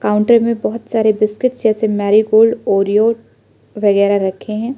Counter में बहुत सारे बिस्किट जैसे मेरीगोल्ड ओरियो वगैरा रखें हैं।